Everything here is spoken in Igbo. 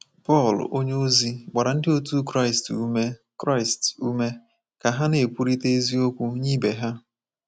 Pọl onyeozi gbara ndị otu Kraịst ume Kraịst ume ka ha ‘ na-ekwurịta eziokwu nye ibe ha.